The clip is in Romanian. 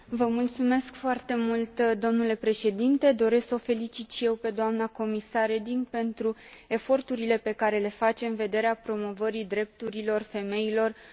Domnule președinte, doresc să o felicit și eu pe doamna comisar Reding pentru eforturile pe care le face în vederea promovării drepturilor femeilor în Uniunea Europeană.